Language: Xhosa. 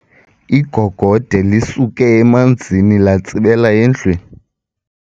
Igogode lisuke emanzini latsibela endlwini.